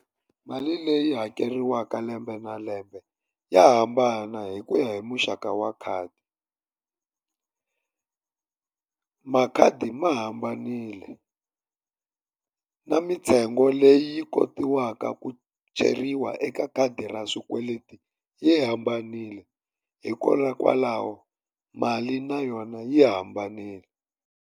Mali leyi hakeriwaka lembe na lembe ya hambana hi ku ya hi muxaka wa khadi. Makhadi ma hambanile na mintsengo leyi kotiwaka ku cheriwa eka khadi ra swikweleti yi hambanile, hikokwalaho mali na yona yi hambanile.